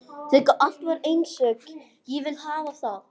Þegar allt er einsog ég vil hafa það.